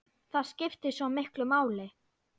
Það skiptir svo miklu máli.